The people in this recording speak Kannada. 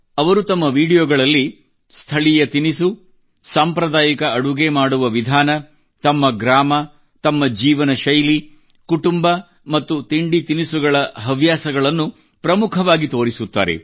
ಅವರು ತಮ್ಮ ವಿಡಿಯೋಗಳಲ್ಲಿ ಸ್ಥಳೀಯ ತಿನಿಸು ಸಾಂಪ್ರದಾಯಿಕ ಅಡುಗೆ ಮಾಡುವ ವಿಧಾನ ತಮ್ಮ ಗ್ರಾಮ ತಮ್ಮ ಜೀವನ ಶೈಲಿ ಕುಟುಂಬ ಮತ್ತು ತಿಂಡಿತಿನಿಸುಗಳ ಹವ್ಯಾಸವನ್ನು ಪ್ರಮುಖವಾಗಿ ತಿಳಿಸುತ್ತಾರೆ